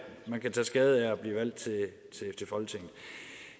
man kan tage skade af at blive valgt til folketinget